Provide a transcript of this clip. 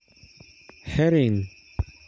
Herring